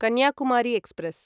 Kanyakumari express